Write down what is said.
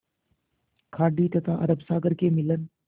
खाड़ी तथा अरब सागर के मिलन